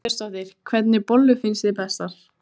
Birta Björnsdóttir: Hvernig bollur finnst þér bestar?